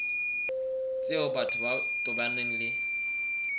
tseo batho ba tobaneng le